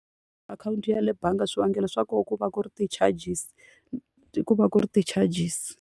Akhawunti ya le bangi swivangelo swa kona ku va ku ri ti-charges ku va ku ri ti-charges.